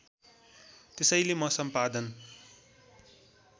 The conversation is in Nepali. त्यसैले म सम्पादन